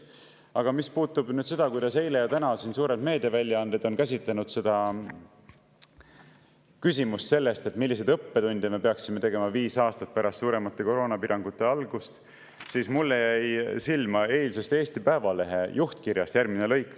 Aga mis puudutab seda, kuidas eile ja täna suured meediaväljaanded on käsitlenud küsimust, milliseid me peaksime tegema viis aastat pärast suuremate koroonapiirangute algust, siis mulle jäi silma eilsest Eesti Päevalehe juhtkirjast järgmine lõik.